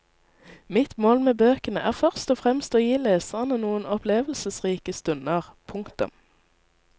Mitt mål med bøkene er først og fremst å gi lesere noen opplevelsesrike stunder. punktum